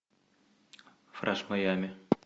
фреш майами